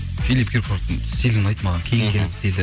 филип киркоровтың стилі ұнайды маған киінген стилі